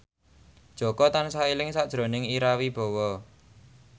Jaka tansah eling sakjroning Ira Wibowo